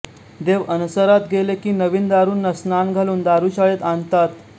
देव अणसरात गेले की नवीन दारूंना स्नान घालून दारुशाळेत आणतात